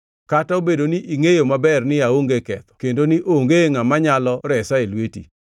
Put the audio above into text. kata obedo ni ingʼeyo maber ni aonge ketho kendo ni onge ngʼama nyalo resa e lweti?